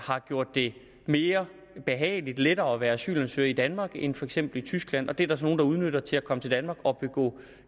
har gjort det mere behageligt lettere at være asylansøger i danmark end for eksempel i tyskland og det er der så nogle der udnytter til at komme til danmark og begå